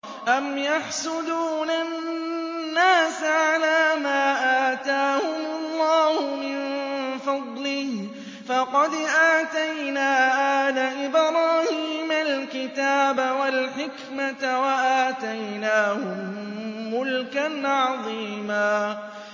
أَمْ يَحْسُدُونَ النَّاسَ عَلَىٰ مَا آتَاهُمُ اللَّهُ مِن فَضْلِهِ ۖ فَقَدْ آتَيْنَا آلَ إِبْرَاهِيمَ الْكِتَابَ وَالْحِكْمَةَ وَآتَيْنَاهُم مُّلْكًا عَظِيمًا